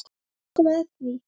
Nú er komið að því!